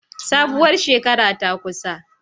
Sabuwar shekara ta kusa